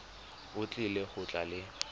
o tlile go tla le